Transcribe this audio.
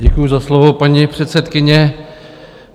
Děkuji za slovo, paní předsedkyně.